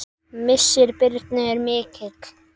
Missir Birnu er mikill.